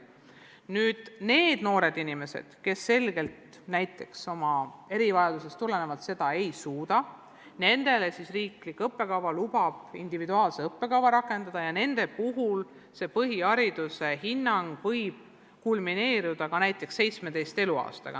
Ent nende noorte inimeste puhul, kes näiteks oma erivajadusest tulenevalt seda ei suuda, lubab riik rakendada individuaalset õppekava ja nende puhul võib põhihariduse lõpetamine kulmineeruda ka näiteks 17. eluaastaga.